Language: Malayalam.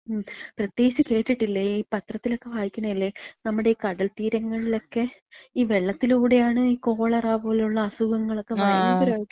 മ് മ്. പ്രത്യേകിച്ച് കേട്ടിട്ടില്ലേ. ഈ പത്രത്തിലക്ക വായിക്ക്ണല്ലേ, നമ്മളെ ഈ കടൽത്തീരങ്ങളിലക്കെ ഈ വെള്ളത്തിലൂടെയാണ് ഈ കോളറ പോലുള്ള അസുഖങ്ങളക്ക ഭയങ്കരായിട്ട്.